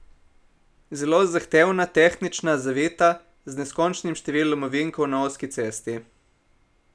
Zelo zahtevna, tehnična, zavita, z neskončnim številom ovinkov na ozki cesti.